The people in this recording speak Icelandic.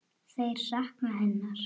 Þeir sakna hennar.